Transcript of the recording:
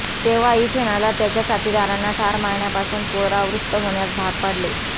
तेव्हा एथेनाला त्याच्या साथीदारांना ठार मारण्यापासून परावृत्त होण्यास भाग पाडले